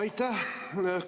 Aitäh!